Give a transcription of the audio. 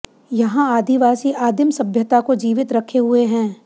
यहां आदिवासी आदिम सभ्यता को जीवित रखे हुए हैं